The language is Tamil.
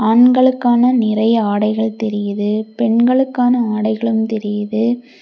ஆண்களுக்கான நிறைய ஆடைகள் தெரியுது பெண்களுக்கான ஆடைகளும் தெரியுது.